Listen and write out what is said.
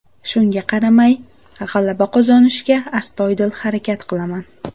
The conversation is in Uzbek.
Shunga qaramay, g‘alaba qozonishga astoydil harakat qilaman.